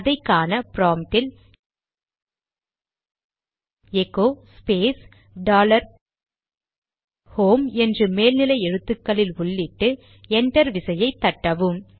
அதை காண ப்ராம்ட்டில் எகோ ஸ்பேஸ் டாலர் ஹோம் என்று மேல் எழுத்துகளில் உள்ளிட்டு என்டர் விசையை தட்டவும்